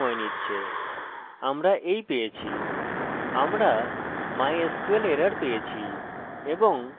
আমরা mysql error পেয়েছি এবং কানেকশন ফেল্ড টেক্সট আছে যা আমরা আগে বর্ণন করেছি